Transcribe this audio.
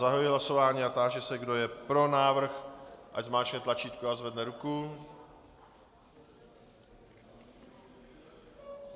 Zahajuji hlasování a táži se, kdo je pro návrh, ať zmáčkne tlačítko a zvedne ruku.